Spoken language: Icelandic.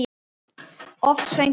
Oft söng hann með.